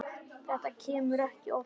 Þetta kemur ekki oftar fyrir.